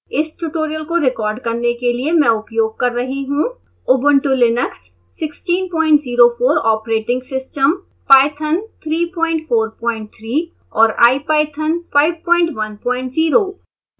इस ट्यूटोरियल को रिकॉर्ड करने के लिए मैं उपयोग कर रही हूँ